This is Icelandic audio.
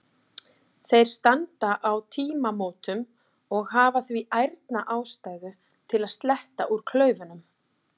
Þeir standa á tímamótum og hafa því ærna ástæðu til að sletta úr klaufunum.